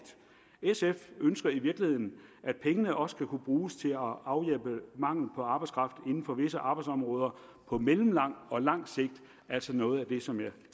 sf ønsker i virkeligheden at pengene også skal kunne bruges til at afhjælpe mangel på arbejdskraft inden for visse arbejdsområder på mellemlang og lang sigt altså noget af det som jeg